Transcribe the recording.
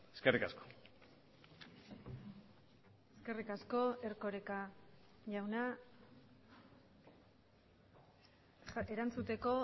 eskerrik asko eskerrik asko erkoreka jauna erantzuteko